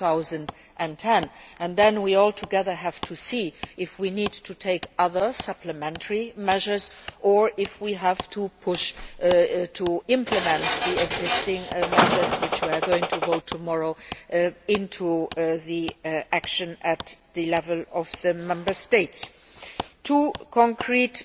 2010. We then, altogether, have to see if we need to take other, supplementary measures or if we have to push to implement the existing measures which we are going to vote on tomorrow in the action at the level of the Member States. Two concrete